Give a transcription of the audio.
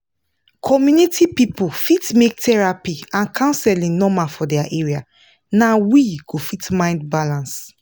community people fit make therapy and counseling normal for their area na we go fit mind balance